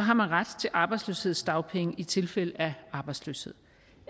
har man ret til arbejdsløshedsdagpenge i tilfælde af arbejdsløshed